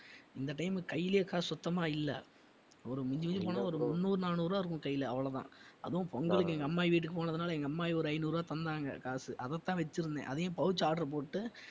இந்த time உ கையிலே காசு சுத்தமா இல்ல ஒரு மிஞ்சி மிஞ்சி போனா ஒரு முந்நூறு, நானூறு ரூபாய் இருக்கும் கையில அவ்வளவுதான் அதுவும் பொங்கலுக்கு எங்க அம்மாயி வீட்டுக்கு போனதனால எங்க அம்மாயி ஒரு ஐநூறு ரூபாய் தந்தாங்க காசு அதைத்தான் வெச்சிருந்தேன் அதையும் pouch order போட்டு